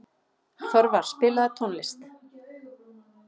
Þorvar, spilaðu tónlist.